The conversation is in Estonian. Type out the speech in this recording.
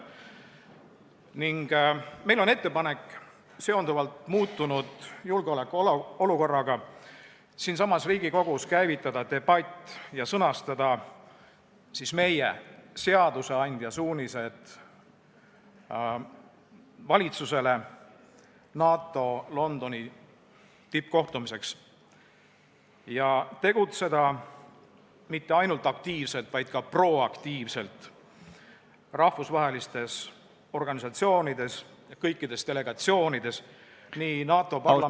Meil on ettepanek muutunud julgeolekuolukorra tõttu siinsamas Riigikogus käivitada debatt ja sõnastada meie, seadusandja suunised valitsusele NATO Londoni tippkohtumiseks ning tegutseda mitte ainult aktiivselt, vaid ka proaktiivselt rahvusvahelistes organisatsioonides, kõikides delegatsioonides, nii NATO Parlamentaarses Assamblees ...